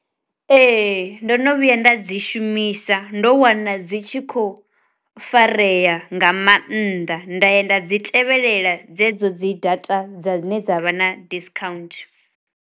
Ee ndo no vhuya nda dzi shumisa ndo wana dzi tshi kho fareya nga mannḓa nda ya nda dzi tevhelela dzedzo dzi data dzine dza vha na diskhaunthu.